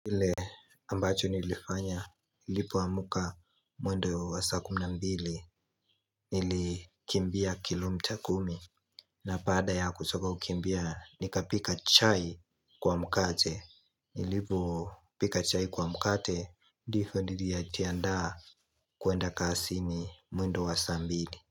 Kile ambacho nilifanya, nilipo amka mwendo wa saa kumi na mbili, nilikimbia kilomita kumi, na baada ya kutoka kukimbia, nikapika chai kwa mkate, nilipo pika chai kwa mkate, ndivyo nilijiandaa kwenda kazini mwendo wa saa mbili.